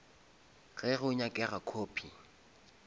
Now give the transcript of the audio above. ge go nyakega copy